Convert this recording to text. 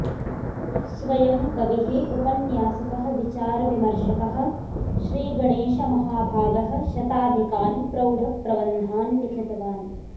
स्वयं कविः उपन्यासकः विचारविमर्शकः श्री गणेशमहाभागः शताधिकान् प्रौढप्रबन्धान् लिखितवान्